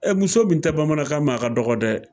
Ɛ muso min tɛ bamanankan mɛn a ka dɔgɔ dɛ